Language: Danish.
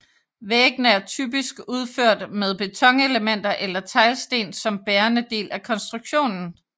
Væggene er typisk udført med betonelementer eller teglsten som bærende del af konstruktionen